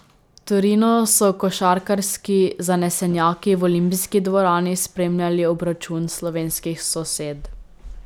V Torinu so košarkarski zanesenjaki v olimpijski dvorani spremljali obračun slovenskih sosed.